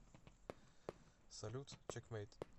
салют чекмэйт